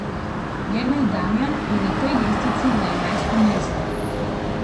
Jernej Damjan je na tej lestvici na enajstem mestu.